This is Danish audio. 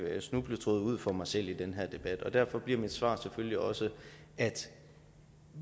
snubletråde ud for mig selv i den her debat og derfor bliver mit svar selvfølgelig også at